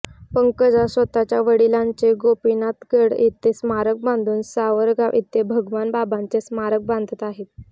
पंकजा स्वतःच्या वडिलांचे गोपीनाथगड येथे स्मारक बांधून सावरगाव येथे भगवान बाबांचे स्मारक बांधत आहेत